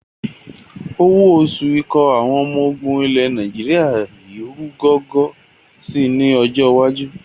Owó oṣù ikọ̀ àwọn ọmọ ogun ilẹ̀ Nàìjíríà yìí ru gọ́gọ́ sì ni ọjọ́ iwájú